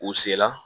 U se la